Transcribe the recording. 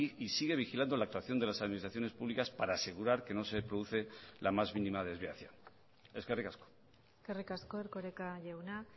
y sigue vigilando la actuación de las administraciones públicas para asegurar que no se produce la más mínima desviación eskerrik asko eskerrik asko erkoreka jauna